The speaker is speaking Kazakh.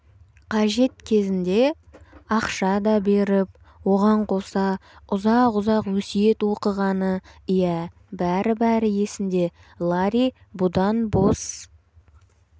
қажет кезінде ақша да беріп оған қоса ұзақ-ұзақ өсиет оқығаны иә бәрі-бәрі есінде ларри бұдан бос